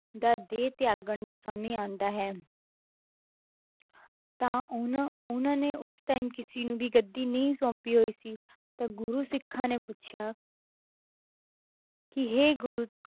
ਦਾ ਦੇਹ ਤਿਆਗਣ ਦਾ ਸਮੇਂ ਆਉਂਦਾ ਹੈ ਤਾਂ ਉਹਨਾਂ ਉਹਨਾਂ ਨੇ ਉਸ time ਕਿਸੇ ਨੂੰ ਵੀ ਗੱਦੀ ਨਹੀਂ ਸੋਂਪੀ ਹੋਈ ਸੀ ਤਾਂ ਗੁਰੂ ਸਿੱਖਾਂ ਨੇ ਪੁੱਛਿਆ ਕਿ ਹੇ ਗੁਰੂ